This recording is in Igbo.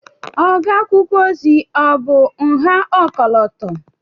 Ogo akwụkwọ ozi ọ̀ bụ nha ọkọlọtọ?